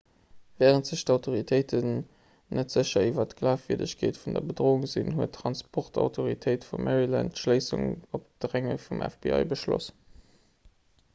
wärend sech d'autoritéite net sécher iwwer d'glafwierdegkeet vun der bedroung sinn huet d'transportautoritéit vu maryland d'schléissung op dränge vum fbi beschloss